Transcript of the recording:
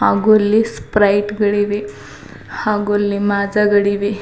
ಹಾಗು ಇಲ್ಲಿ ಸ್ಪ್ರೈಟ್ಗಳಿವೆ ಹಾಗು ಇಲ್ಲಿ ಮಾಜಾಗಳಿವೆ.